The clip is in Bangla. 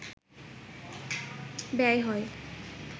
ব্যয় হয়